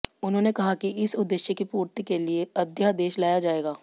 उन्होंने कहा कि इस उद्देश्य की पूर्ति के लिए अध्यादेश लाया जायेगा